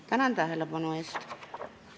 Tänan tähelepanu eest!